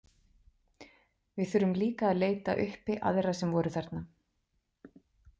Við þurfum líklega að leita uppi aðra sem voru þarna.